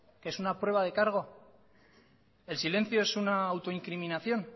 qué es una prueba de cargo el silencio es una autoincriminación